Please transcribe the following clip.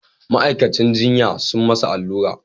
Ma'aikacin jinya sun masa allura